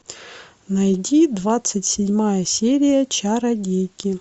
найди двадцать седьмая серия чародейки